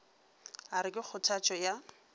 a re ke kgothatšo ya